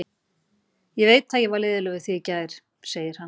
Ég veit að ég var leiðinlegur við þig í gær, segir hann.